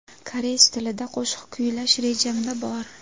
Koreys tilida qo‘shiq kuylash rejamda bor.